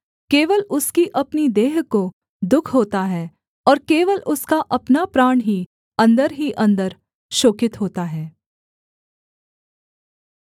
केवल उसकी अपनी देह को दुःख होता है और केवल उसका अपना प्राण ही अन्दर ही अन्दर शोकित होता है